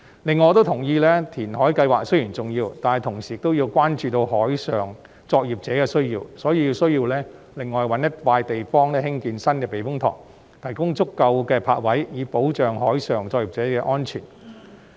此外，我亦同意填海計劃雖然重要，但同時亦要關注海上作業者的需要，因此有需要另覓一幅土地興建新的避風塘，提供足夠的泊位，保障海上作業者的安全。